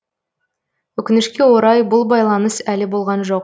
өкінішке орай бұл байланыс әлі болған жоқ